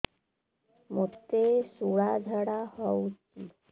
ମୋତେ ଶୂଳା ଝାଡ଼ା ହଉଚି